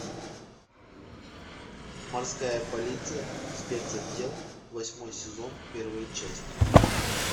морская полиция спецотдел восьмой сезон первая часть